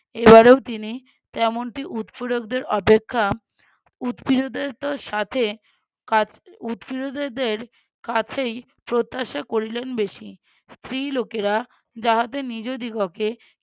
এবারেও তিনি তেমনটি উৎপীড়ক দের অপেক্ষা উৎপীড় দের সাথে কা~ উৎপীড়িতদের কাছেই প্রত্যাশা করিলেন বেশি। স্ত্রী লোকেরা যাহাদের নিজাদিগকে